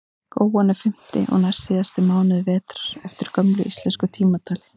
góan er fimmti og næstsíðasti mánuður vetrar eftir gömlu íslensku tímatali